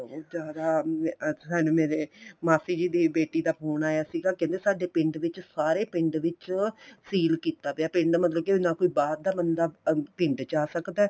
ਜਿਆਦਾ ਅਹ ਮੇਰੇ ਮਾਸੀ ਦੀ ਬੇਟੀ ਜੀ ਦਾ phone ਆਇਆ ਸੀਗਾ ਕਹਿੰਦੇ ਪਿੰਡ ਵਿੱਚ ਸਾਰੇ ਪਿੰਡ ਵਿੱਚ seal ਕੀਤਾ ਪਿਆ ਪਿੰਡ ਨਾ ਮਤਲਬ ਕੀ ਕੋਈ ਬਾਹਰ ਦਾ ਬੰਦਾ ਪਿੰਡ ਚ ਆ ਸਕਦਾ